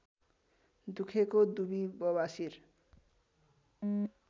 दुखेको दुबी बबासिर